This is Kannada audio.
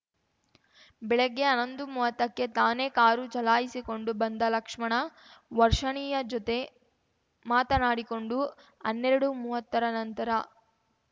ಬೆಳಿಗ್ಗೆ ಹನ್ನೊಂದು ಮೂವತ್ತಕ್ಕೆ ತಾನೇ ಕಾರು ಚಲಾಯಿಸಿಕೊಂಡು ಬಂದ ಲಕ್ಷ್ಮಣ ವರ್ಷಣಿಯ ಜೊತೆ ಮಾತನಾಡಿಕೊಂಡು ಹನ್ನೆರಡುಮೂವತ್ತರ ನಂತರ